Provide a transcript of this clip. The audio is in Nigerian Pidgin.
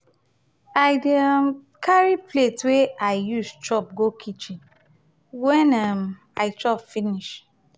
i dey um carry plate wey i um use chop go kichen wen um i chop finish.